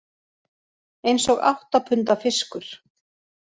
Eins og átta punda fiskur